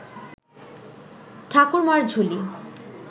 Thakurmar Jhuli